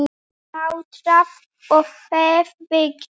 Slátrað og féð vigtað.